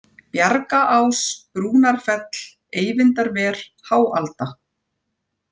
Bjargaás, Brúnarfell, Eyvindarver, Háalda